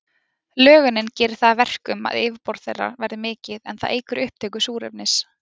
Lögunin gerir það að verkum að yfirborð þeirra verður mikið, en það eykur upptöku súrefnis.